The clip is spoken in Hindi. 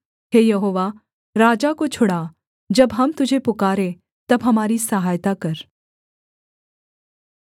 हे यहोवा राजा को छुड़ा जब हम तुझे पुकारें तब हमारी सहायता कर